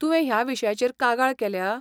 तुवें ह्या विशयाचेर कागाळ केल्या?